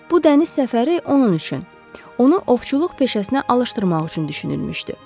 Bu dəniz səfəri onun üçün, onu ovçuluq peşəsinə alışdırmaq üçün düşünülmüşdü.